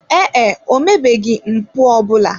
Ee e, o mebeghị mpụ ọ bụla.